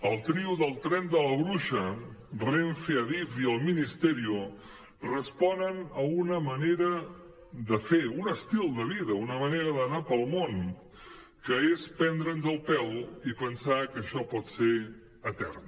el trio del tren de la bruixa renfe adif i el ministerio respon a una manera de fer un estil de vida una manera d’anar pel món que és prendre’ns el pèl i pensar que això pot ser etern